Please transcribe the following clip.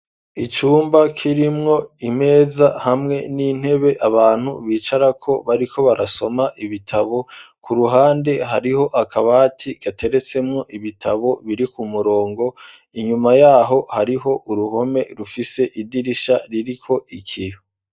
Icumba kirimwo imeza hamwe n'intebe abantu bicarako bariko barasoma ibitabo, ku ruhande hariho akabati gateretsemwo ibitabo biri ku murongo, inyuma yaho hariho uruhome rufise idirisha ririko ikiyo.